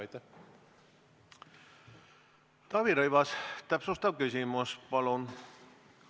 Taavi Rõivas, täpsustav küsimus, palun!